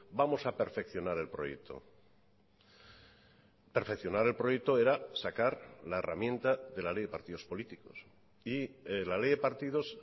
vamos a perfeccionar el proyecto perfeccionar el proyecto era sacar la herramienta de la ley de partidos políticos y la ley de partidos